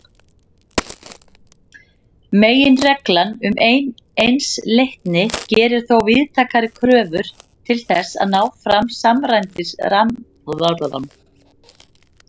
Meginreglan um einsleitni gerir þó víðtækari kröfur til þess að ná fram samræmdri skýringu.